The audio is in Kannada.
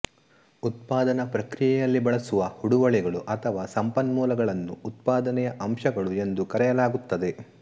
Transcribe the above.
ಉತ್ಪಾದನಾ ಪ್ರಕ್ರಿಯೆಯಲ್ಲಿ ಬಳಸುವ ಹೂಡುವಳಿಗಳು ಅಥವಾ ಸಂಪನ್ಮೂಲಗಳನ್ನು ಉತ್ಪಾದನೆಯ ಅಂಶಗಳು ಎಂದು ಕರೆಯಲಾಗುತ್ತದೆ